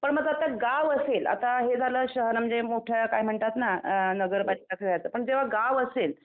पण मग आता गावं असेल आता हे झालं शहर म्हणजे मोठे काय म्हणतात नगरपालिका पण जेव्हा गावं असेल.